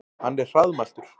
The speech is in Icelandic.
Hann er hraðmæltur.